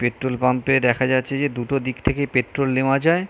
Petrol pump -এ দেখা যাচ্ছে যে দুটো দিক থেকে পেট্রোল নেওয়া যায়।